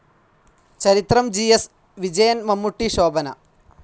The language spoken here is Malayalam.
ചരിത്രം ജി.എസ്. വിജയൻ മമ്മൂട്ടി, ശോഭന